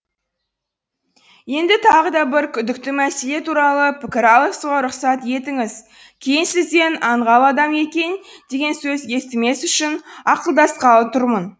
енді тағы да бір күдікті мәселе туралы пікір алысуға рұқсат етіңіз кейін сізден аңғал адам екен деген сөз естімес үшін ақылдасқалы тұрмын